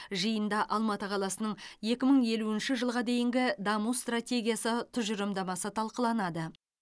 жиында алматы қаласының екі мың елуінші жылға дейінгі даму стратегиясы тұжырымдамасы талқыланады